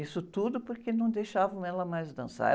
Isso tudo porque não deixavam ela mais dançar.